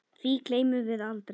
Því gleymum við aldrei.